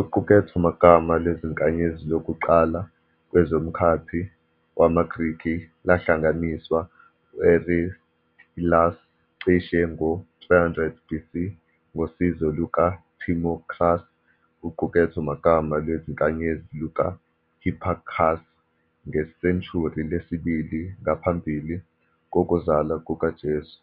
Uqukethomagama lezinkanyezi lokuqala kwezomkhathi wamaGrikhi lahlanganiswa u-Aristillus cishe ngo-300 BC, ngosizo luka Timocharis. Uqukethomagama lwezinkanyezi luka Hipparchus, ngesenshuri lesibili ngaphambili kokuzalwa kukaJesu,